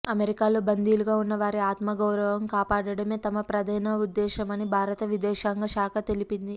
అమెరికాలో బందీలుగా ఉన్న వారి ఆత్మగౌరవం కాపాడటమే తమ ప్రధాన ఉద్దేశమని భారత విదేశాంగ శాఖ తెలిపింది